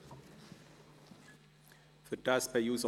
Wir kommen zur Abstimmung.